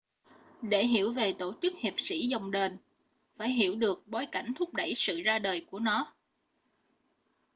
để hiểu về tổ chức hiệp sĩ dòng đền phải hiểu được bối cảnh thúc đẩy sự ra đời của nó